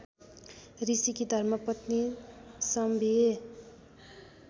ऋषिकी धर्मपत्नी सम्भिए